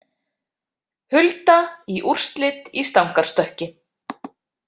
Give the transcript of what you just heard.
Hulda í úrslit í stangarstökki